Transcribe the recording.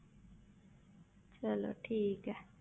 ਚਲੋ ਠੀਕ ਹੈ।